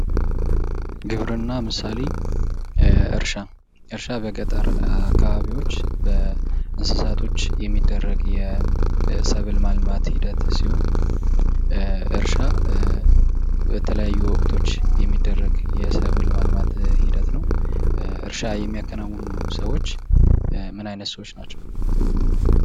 ግብርና ምሳሌ እርሻ እርሻ በገጠር አካባቢዎች እንሰሳቶች የሚደረግ የሰብል ማልማት ሂደት ሲሆን እርሻ በተለያዩ ወቅቶች የሚደረግ የሰብል ማልማት ሂደት ነው። እርሻ የሚያከናውኑ ሰዎች ምን አይንት ሰዎች ናቸው?